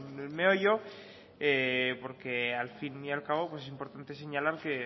el meollo porque al fin y al cabo es importante señalar que